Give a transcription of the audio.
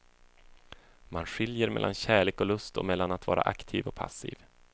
Man skiljer mellan kärlek och lust och mellan att vara aktiv och passiv.